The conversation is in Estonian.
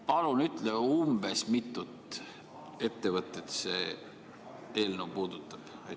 Palun ütle, umbes mitut ettevõtet see eelnõu puudutab!